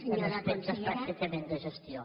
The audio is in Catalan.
en aspectes pràcticament de gestió